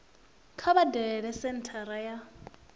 kha vha dalele senthara ya